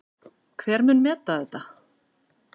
Hver mun meta þetta?